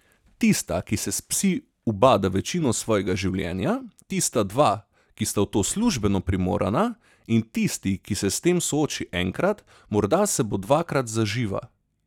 Tista, ki se s psi ubada večino svojega življenja, tista dva, ki sta v to službeno primorana, in tisti, ki se s tem sooči enkrat, morda se bo dvakrat zaživa.